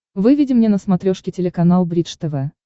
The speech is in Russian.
выведи мне на смотрешке телеканал бридж тв